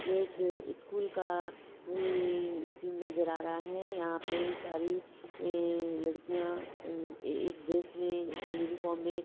यह एक स्कूल का हई सीन नजर आ रहा है यहा पे सारी अ लड़कियां एक ड्रेस में यूनीफॉम में ----